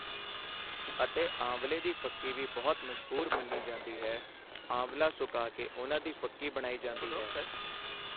ਅਤੇ ਆਂਵਲ਼ੇ ਦੀ ਫੱਕੀ ਵੀ ਬਹੁਤ ਮਸ਼ਹੂਰ ਮੰਨੀ ਜਾਂਦੀ ਹੈ ਆਂਵਲਾ ਸੁਕਾ ਕੇ ਉਹਨਾਂ ਦੀ ਫੱਕੀ ਬਣਾਈ ਜਾਂਦੀ ਹੈ।